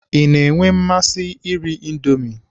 Ị na-enwe mmasị iri Indomi?